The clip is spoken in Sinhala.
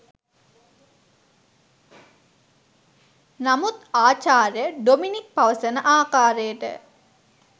නමුත් ආචාර්ය ඩොමිනික් පවසන ආකාරයට